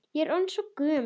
Ég er orðin svo gömul.